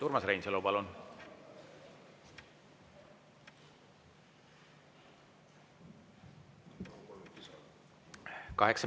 Urmas Reinsalu, palun!